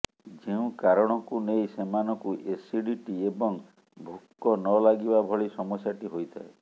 ଯେଉଁ କାରଣକୁ ନେଇ ସେମାନଙ୍କୁ ଏସିଡ଼ିଟି ଏବଂ ଭୋକ ନଲାଗିବା ଭଳି ସମସ୍ୟାଟି ହୋଇଥାଏ